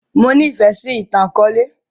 Mo ní fẹ sì ìtàn akọ̀ọ̀lẹ